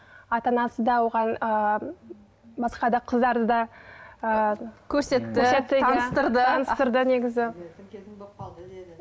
ата анасы да оған ы басқа да қыздарды да ы көрсетті таныстырды таныстырды негізі